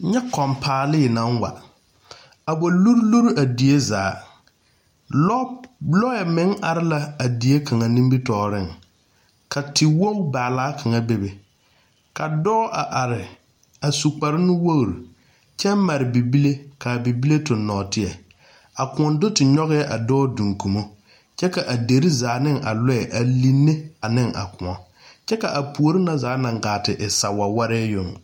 Kyɛ kõɔ paalii naŋ wa a luri luri a die zaa loɛ meŋ are la a die kaŋa nimitɔɔreŋ ka tewogi baala kaŋa bebe ka dɔɔ a are a su kpare nuwogi kyɛ mare bibile ka bibile tuŋ nɔɔteɛ a kõɔ do te nyɔge la a dɔɔ duŋkubo kyɛ ka a dere zaa ne a loɛ a line ne a kõɔ kyɛ ka a puori ŋa zaa naŋ gaa te e sawaware yoŋ.